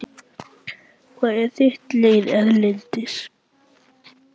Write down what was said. Hvað er þitt lið erlendis?